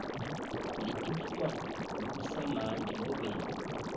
letiphuma lokusamanti nobe